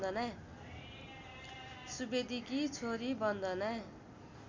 सुवेदीकी छोरी बन्दना